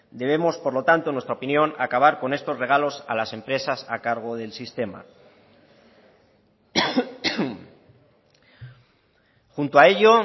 debemos por lo tanto en nuestra opinión acabar con estos regalos a las empresas a cargo del sistema junto a ello